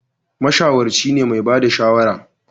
Mashawarci ne mai ba da shawara